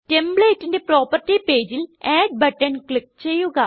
Templateന്റെ property പേജിൽ add button click ചെയ്യുക